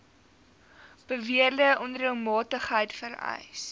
beweerde onreëlmatigheid vereis